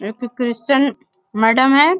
एक Christian madam है।